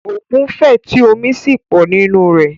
Òkun fẹ̀ tí omi sì pọ̀ nínú rẹ̀.